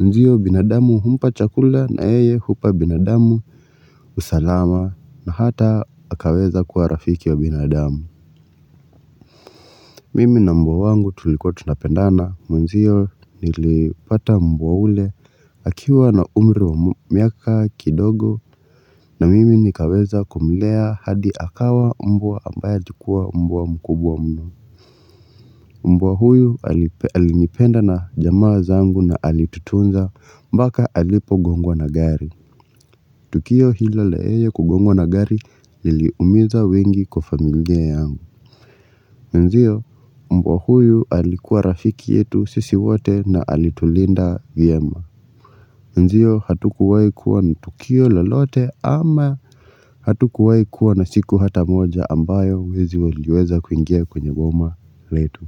Ndio binadamu humpa chakula na yeye hupa binadamu usalama na hata akaweza kuwa rafiki ya binadamu. Mimi na mbwa wangu tulikua tunapendana. Mwenzio nilipata mbwa yule, akiwa na umri wa miaka kidogo na mimi nikaweza kumlea hadi akawa mbwa ambaye alikuwa mbwa mkubwa mno. Mbwa huyu alinipenda na jamaa zangu na alitutunza mpaka alipo gongwa na gari. Tukio hilo la yeye kugongwa na gari liliumiza wengi kwa familia yangu. Mwenzio mbwa huyu alikuwa rafiki yetu sisi wote na alitulinda vyema. Ndio hatukuwai kuwa na tukio lolote ama hatukuwai kuwa na siku hata moja ambayo wezi waliweza kuingia kwenye boma letu.